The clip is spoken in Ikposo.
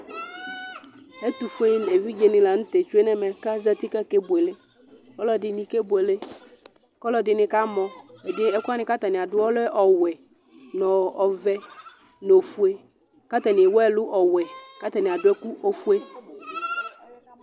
Ɛtʊfʊe eʋɩɗje ɛɗɩnɩlanʊtɛ atsʊenʊ ɛmɛ azatɩ ƙaƙeɓʊele ɛɗɩnɩ aƙamɔ ɛƙʊwanɩ atamɩaɗʊƴɛ ɔlɛ ɔwɛ, ɔʋɛ nʊ ofʊe atanɩewʊ ɛlʊ ɔwɛ ƙatanɩaɗʊ ɛƙʊ ofʊe